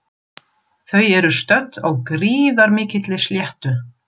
Þau eru stödd á gríðarmikilli sléttu.